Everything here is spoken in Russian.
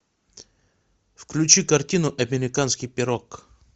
включи картину американский пирог